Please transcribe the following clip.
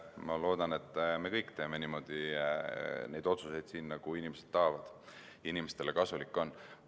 Ma loodan, et me kõik teeme otsuseid siin niimoodi, nagu inimesed tahavad ja nagu neile kasulik on.